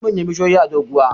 akwai manyan bishiyoyi a doguwa